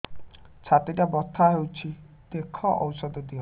ଛାତି ଟା ବଥା ହଉଚି ଦେଖ ଔଷଧ ଦିଅ